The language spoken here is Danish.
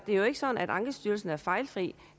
er jo ikke sådan at ankestyrelsen er fejlfri